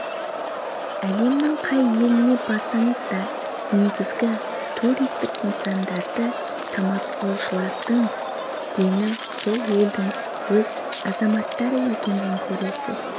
әлемнің қай еліне барсаңыз да негізгі туристік нысандарды тамашалаушылардың дені сол елдің өз азаматтары екенін көресіз